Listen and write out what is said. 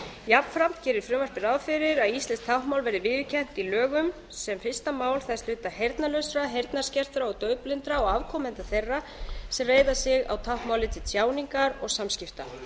jafnframt er í frumvarpinu gert ráð fyrir að íslenskt táknmál verði viðurkennt í lögum sem fyrsta mál þess hluta heyrnarlausra heyrnarskertra og daufblindra og afkomenda þeirra sem reiða sig á táknmálið til tjáningar og samskipta